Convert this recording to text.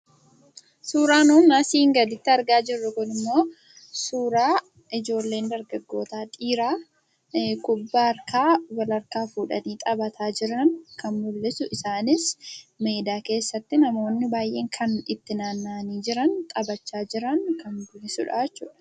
Suuraa nuun asii gaditti argaa jirru kun immoo, suuraa ijoolleen dargaggootaa dhiiraa kubbaa harkaa walharkaa fuudhanii xabataa jiran kan mul'isu, isaanis aradaa keessatti namoonni baay'een kan itti naanna'anii jiran xabachaa jiran kan mul'isuudha.